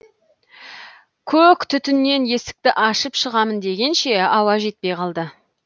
көк түтіннен есікті ашып шығамын дегенше ауа жетпей қалды